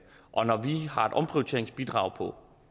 har et omprioriteringsbidrag på